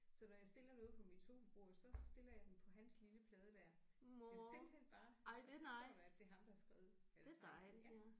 Så når jeg stiller noget på mit sofabord så stiller jeg den på hans lille plade der. Jeg er simpelthen bare jeg så stolt af det er ham der har skrevet eller tegnet den ja